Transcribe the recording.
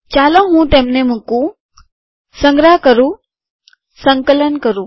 ચાલો હું તેમને મુકું સંગ્રહ કરું સંકલન કરું